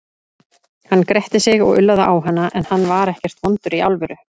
Hann gretti sig og ullaði á hana, en hann var ekkert vondur í alvöru.